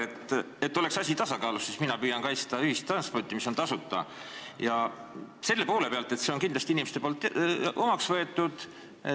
Et asi oleks tasakaalus, siis mina püüan kaitsta ühistransporti, mis on tasuta, selle poole pealt, et inimesed on selle kindlasti omaks võtnud.